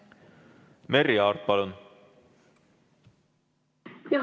Merry Aart, palun!